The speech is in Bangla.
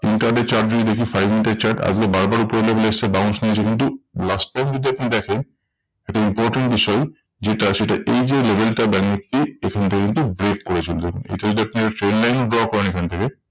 Intraday chart যদি দেখি five মিনিটের chart আজগে বারবার উপরের level এ এসেছে bounce নিয়েছে কিন্তু last time যদি আপনি দেখেন, একটা important বিষয় যেটা সেটা এই যে level টা ব্যাঙ্ক নিফটি এখানটা কিন্তু break করে চললেন। এটা যদি আপনি আর trend line draw করেন এখান থেকে